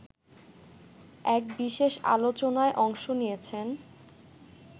এক বিশেষ আলোচনায় অংশ নিয়েছেন